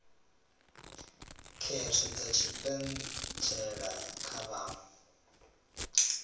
khetho dza tshipentshela kha vhaṅwe